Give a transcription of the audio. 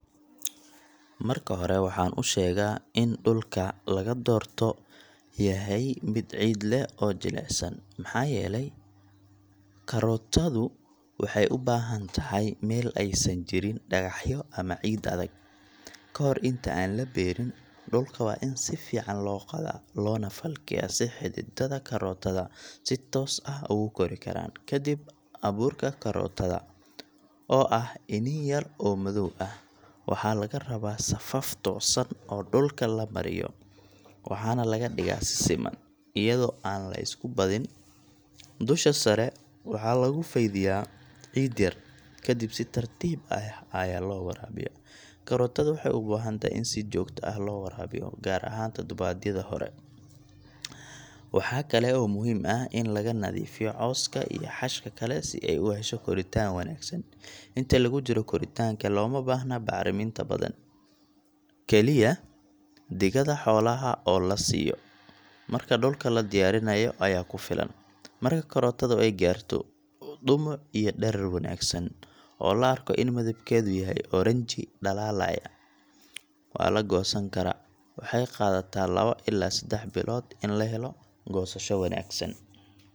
Marka hore waxaan usheegaa in dulka laga doorto yahay mid ciid leh oo jilicsan, maxaa yeele korootadu waxeey ubahan tahay meel aay san jirin dagaxyo ama ciid adag, kahor inta aan labeerin, dulka waa in sifican loo qodaa loona falkeeya si xididada korootada si toos ah ugu kori karaan, kadib abuurka korootada, oo ah inii yar oo madoow ah, waxaa laga rabaa safaf toosan oo dulka labaryo, waxaana laga digaa siman ayado aan lisku badin, dusha sare waxaa lagu fadiya ciid yar, kadib si tartiib ah ayaa loo waraabiya, korootada waxeey ubahan tahay in si joogta ah loo waraabiyo gaar ahaan tadobaadyada hore, waxaa kale oo muhiim ah in laga nadiifiyo cooska iyo xashka kale si aay uhesho koritaan wanagsan, inta lagu jiro koritaanka looma bahno bacraminta badan, kaliya digada xoolaha oo lasiiyo marka dulka ladiyaarinaayo ayaa kufilan, marka korootada aay gaarto derar wanagsan, oo la arko in midibkeeda yahay orange dalaalaya, waa lagoosan karaa, waxeey qaadataa laba ilaa sedax bilood in lahelo goosasho wanagsan.